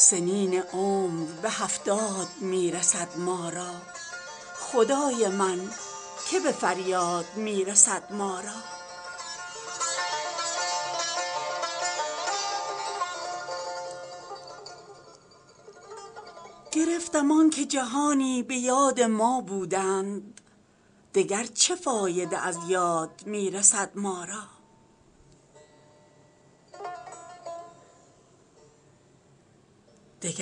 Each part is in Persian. سنین عمر به هفتاد می رسد ما را خدای من که به فریاد می رسد ما را سر دوراهی تودیع جسم و جان دارد اجل به موعد و میعاد می رسد ما را گرفتم آنکه جهانی به یاد ما بودند دگر چه فایده از یاد می رسد ما را حدیث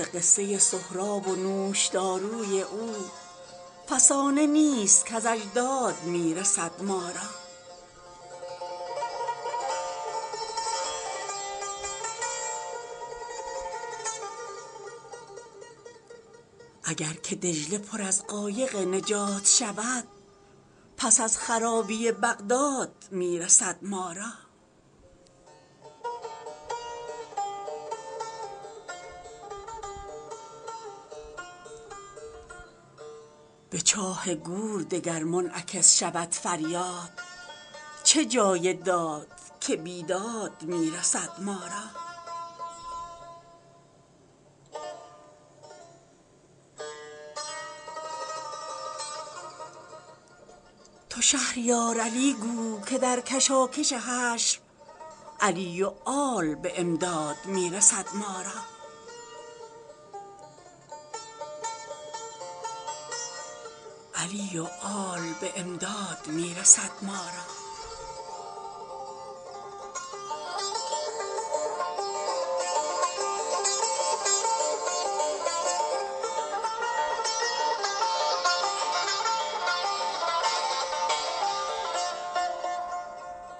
قصه سهراب و نوشداروی او فسانه نیست کز اجداد می رسد ما را اگر که دجله پر از قایق نجات شود پس از خرابی بغداد می رسد ما را به چاه گور دگر منعکس شود فریاد چه جای داد که بیداد می رسد ما را چو ما به داد کسی در حیات خود نرسیم کجا به گوش کسی داد می رسد ما را چو نیک و بد به موازین عدل می سنجند همان تفاوت مازاد می رسد ما را ارم چه حاصل و ذات العماد کآخر کار همان نصیبه شداد می رسد ما را ولی گر از قفس خاکدان پریدن بود کجا به گرد طلب باد می رسد ما را به چاه ویل اگر جان ما نه زندانی فضای خرم و آزاد می رسد ما را اگر صواعق دوزخ نه در کمین بودند حدایق گل و شمشاد می رسد ما را بلی اگر علی آباد ما خراب نبود نجاتی از نجف آباد می رسد ما را تو شهریار علی گو که در کشاکش حشر علی و آل به امداد می رسد ما را